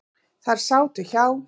Þær sátu hjá.